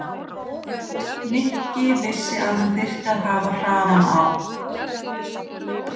Nikki vissi að hann þyrfti að hafa hraðann á.